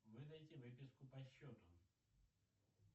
выдайте выписку по счету